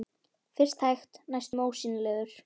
Fyrst hægt, næstum ósýnilegur.